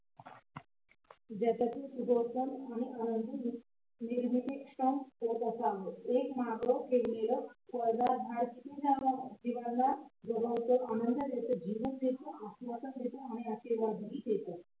आनंदी निर्मितीक्षम होत असावं एक मग ठेवलेलं फळदार झाड किती जीवांना जगवत आनंद देत जीवन देत आश्वसन आणि आशीर्वाद देत